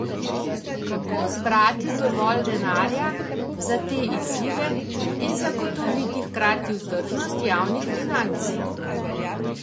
Kako zbrati dovolj denarja za te izzive in zagotoviti hkratno vzdržnost javnih financ?